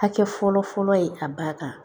Hakɛ fɔlɔ fɔlɔ ye a ba kan